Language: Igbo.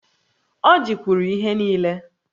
Ọjị kwuru ihe nille